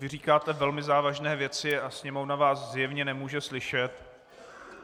Vy říkáte velmi závažné věci a Sněmovna vás zjevně nemůže slyšet.